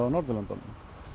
á Norðurlöndunum